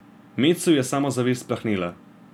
Metsu je samozavest plahnela.